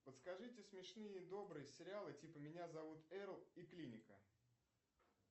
подскажите смешные и добрые сериалы типа меня зовут эрл и клиника